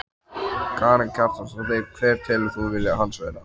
Karen Kjartansdóttir: Hver telur þú vilja hans vera?